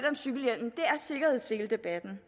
om cykelhjelmen er sikkerhedsseledebatten